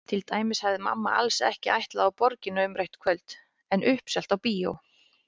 Til dæmis hafði mamma alls ekki ætlað á Borgina umrætt kvöld en uppselt á bíó.